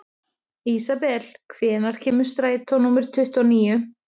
Ísabel, hvenær kemur strætó númer tuttugu og níu?